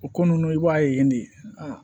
O ko nunnu i b'a ye de